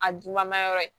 A dunma yɔrɔ ye